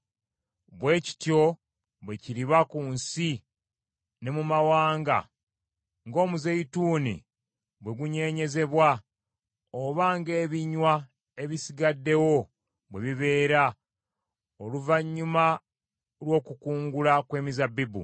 Bwe kityo bwe kiriba ku nsi ne mu mawanga ng’omuzeyituuni bwe gunyeenyezebwa oba ng’ebinywa ebisigaddewo bwe bibeera oluvannyuma lw’okukungula kw’ezabbibu.